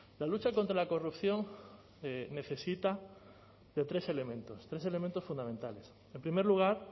la lucha contra la corrupción necesita de tres elementos tres elementos fundamentales en primer lugar